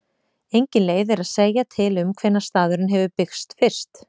Engin leið er að segja til um hvenær staðurinn hefur byggst fyrst.